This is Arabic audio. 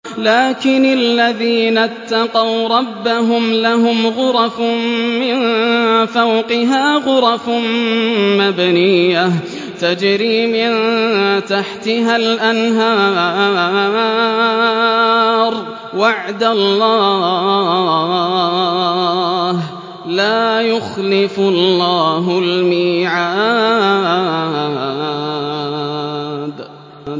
لَٰكِنِ الَّذِينَ اتَّقَوْا رَبَّهُمْ لَهُمْ غُرَفٌ مِّن فَوْقِهَا غُرَفٌ مَّبْنِيَّةٌ تَجْرِي مِن تَحْتِهَا الْأَنْهَارُ ۖ وَعْدَ اللَّهِ ۖ لَا يُخْلِفُ اللَّهُ الْمِيعَادَ